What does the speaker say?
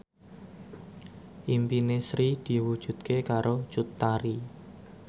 impine Sri diwujudke karo Cut Tari